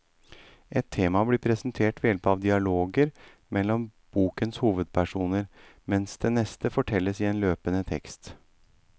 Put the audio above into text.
Ett tema blir presentert ved hjelp av dialoger mellom bokens hovedpersoner, mens det neste fortelles i løpende tekst.